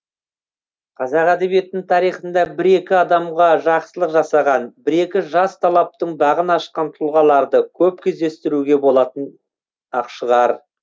қазақ әдебиетінің тарихында бір екі адамға жақсылық жасаған бір екі жас талаптың бағын ашқан тұлғаларды көп кездестіруге болатын ақ шығар